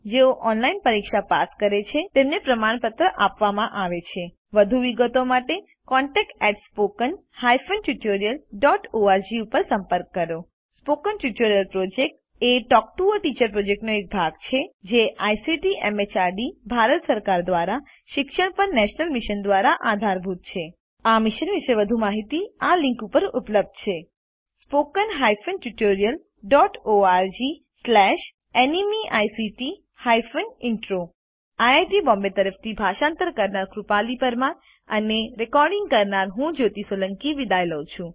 જેઓ ઓનલાઇન પરીક્ષા પાસ કરે છે તેમને પ્રમાણપત્રો આપે છે વધુ વિગતો માટે contactspoken tutorialorg ઉપર સંપર્ક કરો spoken tutorial project talk to a teacher પ્રોજેક્ટનો ભાગ છે જે આઇસીટી એમએચઆરડી ભારત સરકાર દ્વારા શિક્ષણ પર નેશનલ મિશન દ્વારા આધારભૂત છે આ મિશન વિશે વધુ માહીતી આ લીંક ઉપર ઉપલબ્ધ છે spoken hyphen tutorial dot org slash NMEICT hyphen intro IIT Bombay તરફથી ભાષાંતર કરનાર હું કૃપાલી પરમાર વિદાય લઉં છું